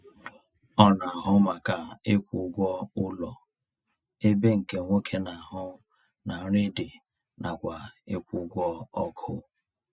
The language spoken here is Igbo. Ọ na ahụ maka ịkwụ ụgwọ ụlọ ebe nke nwoke na-ahụ na nri dị nakwa ịkwụ ụgwọ ọkụ